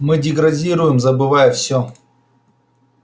мы деградируем забывая всё